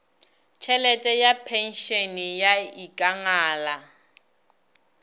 tšhelete ya phenšene ya ikangala